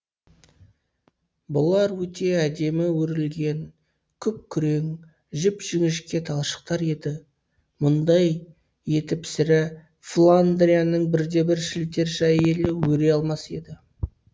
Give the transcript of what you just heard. бұлар өте әдемі өрілген күп күрең жіп жіңішке талшықтар еді мұндай етіп сірә фландрияның бірде бір шілтерші әйелі өре алмас еді